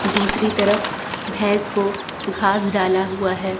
दूसरी तरफ भैंस को घास डाला हुआ है।